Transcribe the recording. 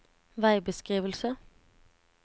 veibeskrivelse